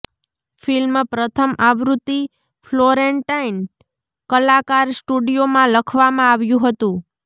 film પ્રથમ આવૃત્તિ Florentine કલાકાર સ્ટુડિયોમાં લખવામાં આવ્યું હતું